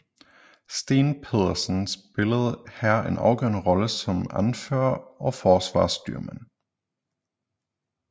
Steen Petersen spillede her en afgørende rolle som anfører og forsvarsstyrmand